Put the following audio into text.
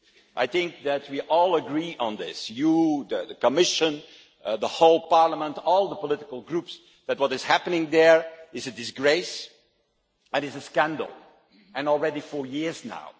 I think we all agree on this you, the Commission, the whole Parliament, all the political groups that what is happening there is a disgrace, it is a scandal, and already for years now.